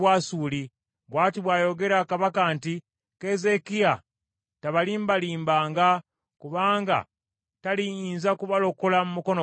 Bw’ati bw’ayogera kabaka nti, ‘Keezeekiya tabalimbanga, kubanga taliyinza kubalokola mu mukono gwange.